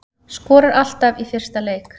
Skorar alltaf í fyrsta leik